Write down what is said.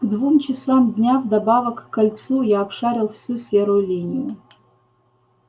к двум часам дня вдобавок к кольцу я обшарил всю серую линию